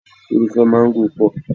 Irúfẹ́ mángó pọ̀.